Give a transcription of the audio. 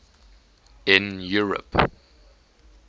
in europe